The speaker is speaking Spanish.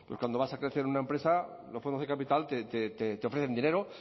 cuando vas a crecer en una empresa los fondos de capital te ofrecen dinero